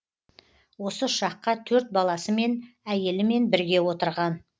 осы ұшаққа төрт баласымен әйелімен бірге отырған